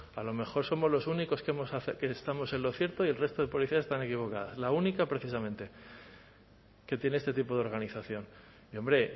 a lo mejor somos los únicos que estamos en lo cierto y el resto de policías están equivocadas la única precisamente que tiene este tipo de organización y hombre